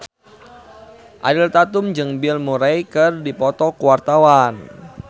Ariel Tatum jeung Bill Murray keur dipoto ku wartawan